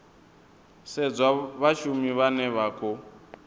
sedzwa vhashumi vhane vha khou